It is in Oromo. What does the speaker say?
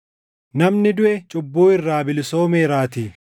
namni duʼe cubbuu irraa bilisoomeeraatii.